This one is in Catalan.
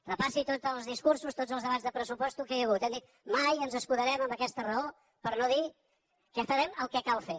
repassi tots els discursos tots els debats de pressupostos que hi ha hagut hem dit mai ens escudarem en aquesta raó per no dir que farem el que cal fer